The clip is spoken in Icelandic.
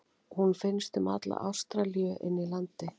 Hún finnst um alla Ástralíu inni í landi.